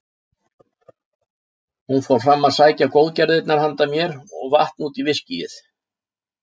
Hún fór fram að sækja góðgerðirnar handa mér og vatn út í viskíið.